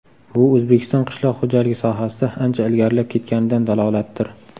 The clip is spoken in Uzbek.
Bu O‘zbekiston qishloq xo‘jaligi sohasida ancha ilgarilab ketganidan dalolatdir.